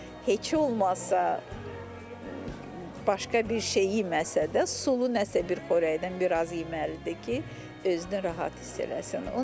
Yəni heç olmasa başqa bir şey yeməsə də sulu nəsə bir xörəkdən biraz yeməlidir ki, özünü rahat hiss eləsin.